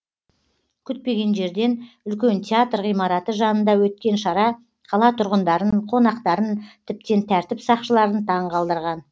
күтпеген жерден үлкен театр ғимараты жанында өткен шара қала тұрғындарын қонақтарын тіптен тәртіп сақшыларын таңқалдырған